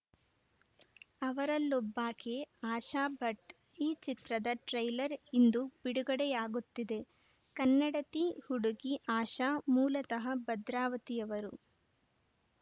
ಅವರಲ್ಲೊಬ್ಬಾಕೆ ಆಶಾ ಭಟ್‌ ಈ ಚಿತ್ರದ ಟ್ರೈಲರ್‌ ಇಂದು ಬಿಡುಗಡೆಯಾಗುತ್ತಿದೆ ಕನ್ನಡತಿ ಹುಡುಗಿ ಆಶಾ ಮೂಲತಃ ಭದ್ರಾವತಿಯವರು